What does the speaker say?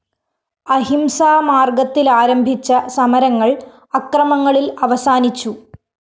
അഹിംസാ മാര്‍ഗത്തിലാരംഭിച്ച സമരങ്ങള്‍ അക്രമങ്ങളില്‍ അവസാനിച്ചു